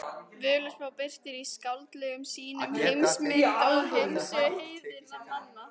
Völuspá birtir í skáldlegum sýnum heimsmynd og heimssögu heiðinna manna.